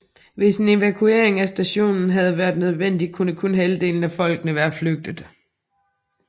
Hvis en evakuering af stationen havde været nødvendig kunne kun halvdelen af folkene være flygte